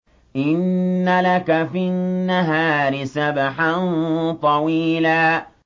إِنَّ لَكَ فِي النَّهَارِ سَبْحًا طَوِيلًا